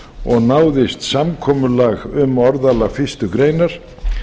og náðist samkomulag um orðalag fyrstu greinar